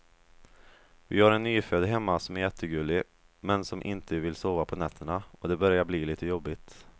Vi har en nyfödd hemma som är jättegullig, men som inte vill sova på nätterna och det börjar bli lite jobbigt.